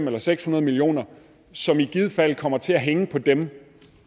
eller seks hundrede million kr som i givet fald kommer til at hænge på dem